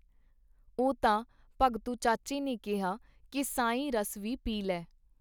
ਉਹ ਤਾਂ ਭਗਤੂ ਚਾਚੇ ਨੇ ਕਿਹਾ ਕੀ ਸਾਈਂ ਰਸ ਵੀ ਪੀ ਲੈ.